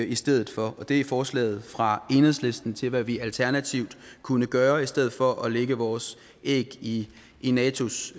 i stedet for det er forslaget fra enhedslisten til hvad vi alternativt kunne gøre i stedet for at lægge vores æg i i natos